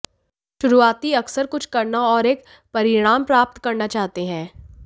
शुरुआती अक्सर कुछ करना और एक परिणाम प्राप्त करना चाहते हैं